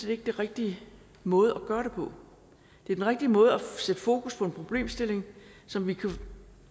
ikke den rigtige måde at gøre det på det er den rigtige måde at sætte fokus på en problemstilling som vi kan